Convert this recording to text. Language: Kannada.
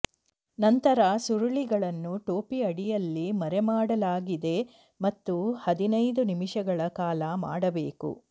ನಂತರ ಸುರುಳಿಗಳನ್ನು ಟೋಪಿ ಅಡಿಯಲ್ಲಿ ಮರೆಮಾಡಲಾಗಿದೆ ಮತ್ತು ಹದಿನೈದು ನಿಮಿಷಗಳ ಕಾಲ ಮಾಡಬೇಕು